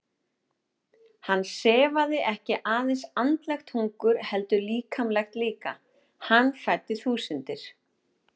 Hann sefaði ekki aðeins andlegt hungur heldur líkamlegt líka, hann fæddi þúsundir.